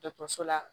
Dɔkɔtɔrɔso la